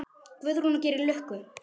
Guðrún: Og gerir lukku?